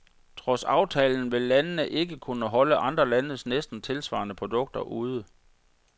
Trods aftalen vil landene ikke kunne holde andre landes næsten tilsvarende produkter ude.